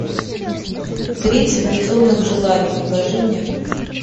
тридцать безумных желаний покажи мне